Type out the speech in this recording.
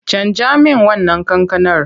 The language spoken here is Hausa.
Canja min wannan kankanar!